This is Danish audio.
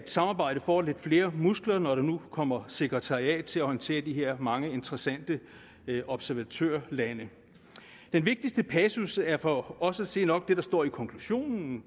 samarbejdet får lidt flere muskler når der nu kommer sekretariat til at orientere mange interessante observatørlande den vigtigste passus er for os at se nok det der står i konklusionen og